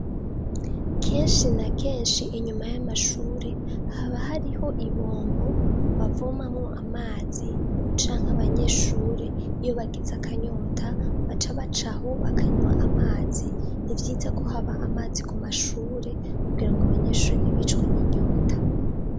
Ikigo c'ishure gifis' ibombo bavomamw' amazi' mumbavu z' ishure kuruhome gubakishij' amatafar' ahiye, niho bashiz' ibombo hafi nah' abanyeshure bigira bikoroha ko bakur' amazi hafi, iyo bagiz' akanyota baca bacaho bakanyw'amazi, nibyiza ko hab' amazi ku mashure kugira ng' abanyeshure ntibicwe n'inyota, kandi habe n' isuku rikwiye, imbere yayo har' ivyatsi n' ibiti bitotahaye hari n'ikibuga c' umunseny' uvanze n' utubuye dutoduto.